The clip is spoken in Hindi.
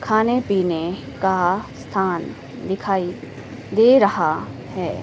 खाने पीने का स्थान दिखाई दे रहा है।